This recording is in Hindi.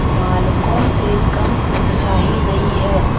बालकों से कम उत्साही नहीं है